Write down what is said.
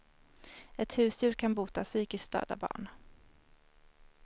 Ett husdjur kan bota psykiskt störda barn.